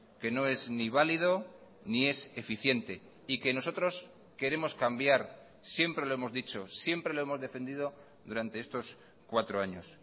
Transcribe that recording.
que no es ni valido ni es eficiente y que nosotros queremos cambiar siempre lo hemos dicho siempre lo hemos defendido durante estos cuatro años